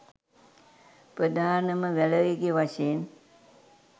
ප්‍රධානම බලවේගය වශයෙන්